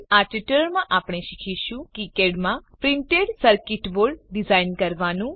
આ ટ્યુટોરીયલમાં આપણે શીખીશું કિકાડ માં પ્રિન્ટેડ સર્કીટ બોર્ડ ડીઝાઇન કરવાનું